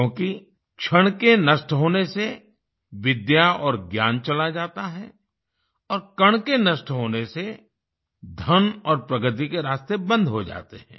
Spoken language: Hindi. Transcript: क्योंकि क्षण के नष्ट होने से विद्या और ज्ञान चला जाता है और कण के नष्ट होने से धन और प्रगति के रास्ते बंद हो जाते हैं